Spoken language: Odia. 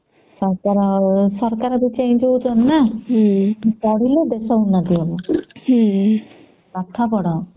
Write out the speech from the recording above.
ହଁ ପରା ଆଉ ସରକାର ବି change ହଉଛନ୍ତି ନ ପଢିଲେ ଦେଶ ଉନ୍ନତି ହବ ପାଠ ପଢ